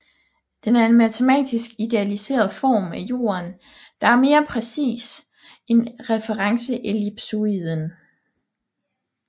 Den er en matematisk idealiseret form af Jorden der er mere præcis end referenceellipsoiden